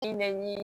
I nɛni